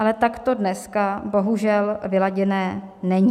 Ale tak to dneska bohužel vyladěné není.